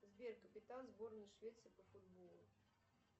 сбер капитан сборной швеции по футболу